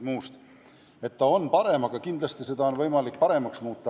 Alaealiste olukord on parem, aga kindlasti on seda võimalik veel paremaks muuta.